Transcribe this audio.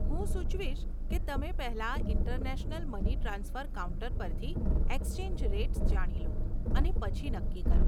હું સુચવીશ કે તમે પહેલાં ઇન્ટરનેશનલ મની ટ્રાન્સફર કાઉન્ટર પરથી એક્સચેંજ રેટ્સ જાણી લો અને પછી નક્કી કરો.